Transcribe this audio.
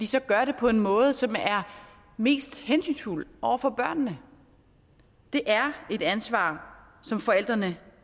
så gør det på den måde som er mest hensynsfuld over for børnene det er et ansvar som forældrene